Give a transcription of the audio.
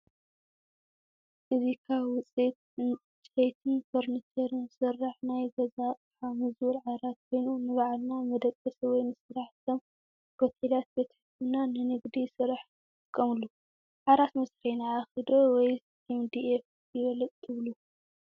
እዚ ካብ ውፅኢት ዕንጨይትን ፈርኒቸርን ዝስራሕ ናይ ገዛ ኣቕሓ ሞዝቡል ዓራት ኮይኑ ንባዕልና መደቀሲ ወይ ንስራሕ ከም ሆቴላት፣ ቤት ሕክምናን ንንግዲ ስራሕ ይጥቀምሉ፡፡ ዓራት መስርሒ ዓኺ ዶ ወይስ ኤምዲኤፍ ይበልፅ ትብሉ?